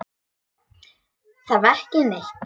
Ég þarf ekki neitt.